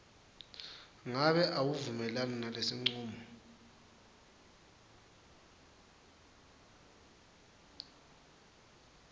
ngabe awuvumelani nalesincumo